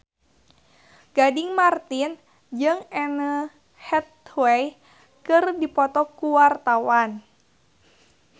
Gading Marten jeung Anne Hathaway keur dipoto ku wartawan